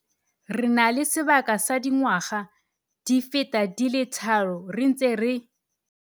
Re na le sebaka sa dingwaga di feta di le tharo re ntse re